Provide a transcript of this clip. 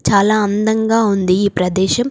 చాలా అందంగా ఉంది ఈ ప్రదేశం.